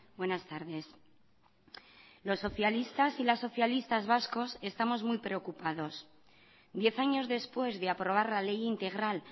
buenas tardes los socialistas y las socialistas vascos estamos muy preocupados diez años después de aprobar la ley integral